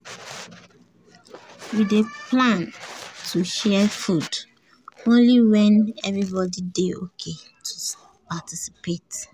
we dey plan to share food only when everybody dey ok to participate.